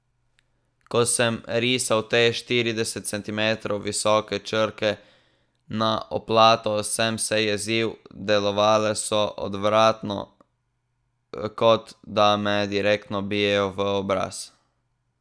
Ko sem risal te, štirideset centimetrov visoke črke na oplato, sem se jezil, delovale so odvratno, kot da me direktno bijejo v obraz.